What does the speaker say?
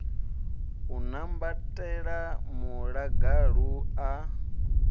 u a kwambatela muḽagalu a